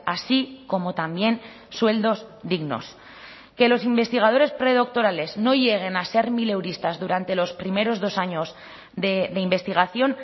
así como también sueldos dignos que los investigadores predoctorales no lleguen a ser mileuristas durante los primeros dos años de investigación